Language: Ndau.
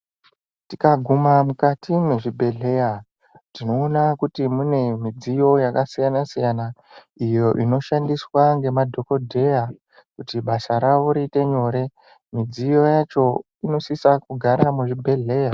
Tikaguma mukati mwezvibhedhlera tinoona kuti mune mudziyo yakasiyana siyana iyo inoshandiswa nemadhokodheya kuti basa ravo riite nyore mudziyo yacho inosise kugara muzvibhedhlera.